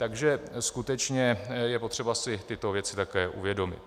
Takže skutečně je potřeba si tyto věci také uvědomit.